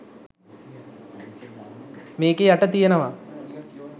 මේකෙ යට තියෙනවා